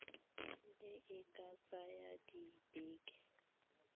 e e ka tsaya dibeke